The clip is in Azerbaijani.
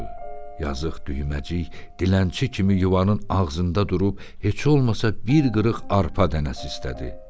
Yazıq düyməcik dilənçi kimi yuvanın ağzında durub heç olmasa bir qırıq arpa dənəsi istədi.